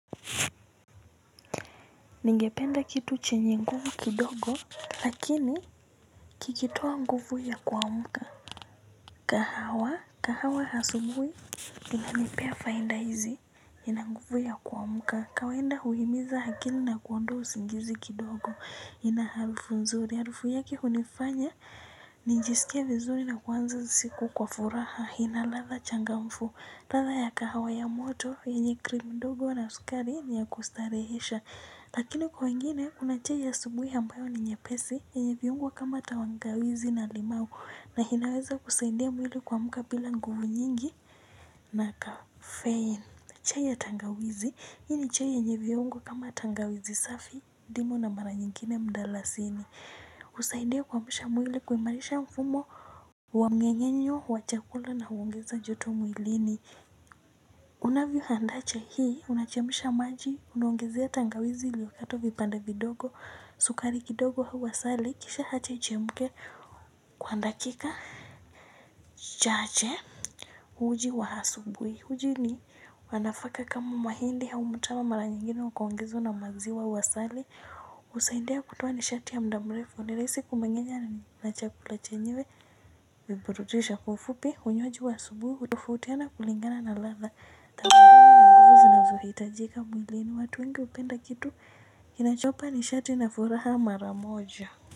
Ningependa kitu chenye nguvu kidogo lakini kikitoa nguvu ya kuamka. Kahawa kahawa asubuhi inanipea fainda hizi. Inanguvu ya kuamka kawainda huimiza akili na kuondoa usingizi kidogo inaharufu nzuri harufu yake hunifanya nijisikie vizuri na kuwanza siku kwa furaha ina latha changamfu ladha ya kahawa ya moto yenye krimi ndogo na sukari ni ya kustarehesha. Lakini kwa wengine kuna chai ya asubuhi ambayo ni nyepesi yenye viungo kama tawangawizi na limau. Na inaweza kusaidia mwili kuamka bila nguvu nyingi na kafein. Chai ya tangawizi, hii ni chai yenye viungo kama tangawizi safi, ndimu na mara nyingine mdalasini husaidia kuamsha mwili kuimarisha mfumo wa mngengenyo wa chakula na huongeza joto mwili ni unavyo handaa chai hii unachemsha maji unaongezea tangawizi iliyokatwa vipenda vidogo sukari kidogo au asali kisha hacha ichemuke kwa ndakika chache uji wa asubuhi uji ni wanafaka kama mahindi hau mutama mara nyingine ukaongezwa na maziwa au sali husaindia kutuoa nishati ya mdamrefu ni rahisi kumengenya na chakula chenywe. Viburudisho kwa ufupi unywaji wa asubuhi hutofautiana kulingana na latha Tampunga na nguvu zinazo hiitajika mwilini watu wengi hupenda kitu kinacho wapa ni shati na furaha maramoja.